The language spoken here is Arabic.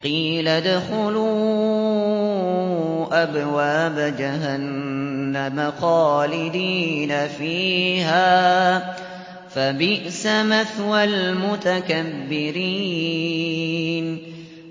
قِيلَ ادْخُلُوا أَبْوَابَ جَهَنَّمَ خَالِدِينَ فِيهَا ۖ فَبِئْسَ مَثْوَى الْمُتَكَبِّرِينَ